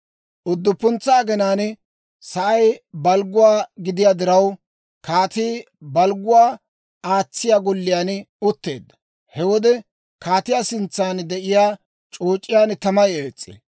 Udduppuntsa aginaan sa'ay balgguwaa gidiyaa diraw, kaatii balgguwaa aatsiyaa golliyaan utteedda. He wode kaatiyaa sintsan de'iyaa c'ooc'iyaan tamay ees's'ee.